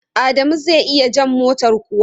Adamu zai iya jan motar kuwa?